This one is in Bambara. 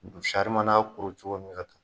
Sari mana kuru cogo min ka taa